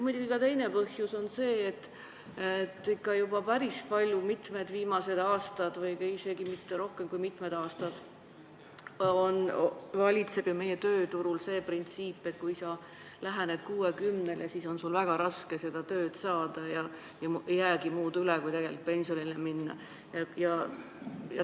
Ja teine põhjus on muidugi see, et viimastel aastatel või õigemini juba ammu valitseb meie tööturul see printsiip, et kui sa lähened 60-le, siis on sul väga raske tööd saada ja ei jäägi muud üle kui pensionile minna.